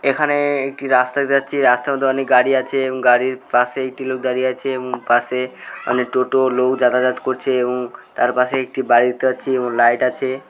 এখানে-এ একটি রাস্তায় দিয়ে যাচ্ছি রাস্তার মধ্যে অনেক গাড়ি আছে এবং গাড়ির পাশেই একটি লোক দাঁড়িয়ে আছে এবং পাশে অনেক টোটো লোক যাতায়াত করছে এবং তার পাশে একটি বাড়ি দেখতে পাচ্ছি এবং লাইট আছে।